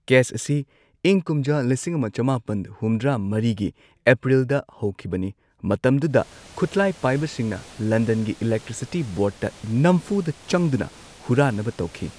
Case ꯑꯁꯤ ꯏꯪ ꯀꯨꯝꯖꯥ ꯂꯤꯁꯤꯡ ꯑꯃ ꯆꯃꯥꯄꯟ ꯍꯨꯝꯗ꯭ꯔꯥ ꯃꯔꯤꯒꯤ ꯑꯦꯄ꯭ꯔꯤꯜꯗ ꯍꯧꯈꯤꯕꯅꯤ, ꯃꯇꯝꯗꯨꯗ ꯈꯨꯠꯂꯥꯢ ꯄꯥꯢꯕꯁꯤꯡꯅ ꯂꯟꯗꯟꯒꯤ ꯏꯂꯦꯛꯇ꯭ꯔꯤꯁꯤꯇꯤ ꯕꯣꯔꯗꯇ ꯅꯝꯐꯨꯗ ꯆꯪꯗꯨꯅ ꯍꯨꯔꯥꯟꯅꯕ ꯇꯧꯈꯤ꯫